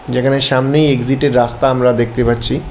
যেখানে সামনেই এক্সিট এর রাস্তা আমরা দেখতে পাচ্ছি।